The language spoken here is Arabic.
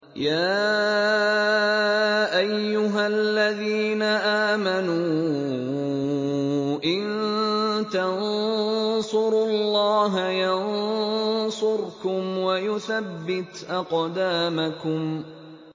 يَا أَيُّهَا الَّذِينَ آمَنُوا إِن تَنصُرُوا اللَّهَ يَنصُرْكُمْ وَيُثَبِّتْ أَقْدَامَكُمْ